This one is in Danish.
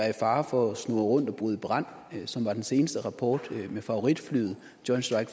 i fare for at snurre rundt og bryde i brand som var den seneste rapport om favoritflyet joint strike